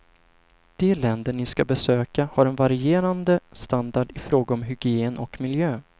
De länder ni skall besöka har en varierande standard ifråga om hygien och miljö.